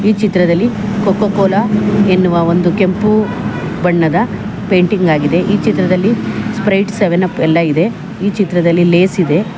ಈ ಚಿತ್ರದಲ್ಲಿ Coca Cola ಎನ್ನುವ ಒಂದು ಕೆಂಪು ಬಣ್ಣದ ಪೇಂಟಿಂಗ್ ಆಗಿದೆ ಈ ಚಿತ್ರದಲ್ಲಿ ಸ್ಪ್ರೈಟ್ ಸೆವೆನ್ ಅಪ್ ಎಲ್ಲ ಇದೆ ಈ ಚಿತ್ರದಲ್ಲಿ ಲೇಸ್ ಇದೆ.